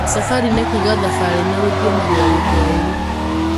Safari nĩ kuuga thabarĩ na rũthiomi rwa Gĩthwaĩri.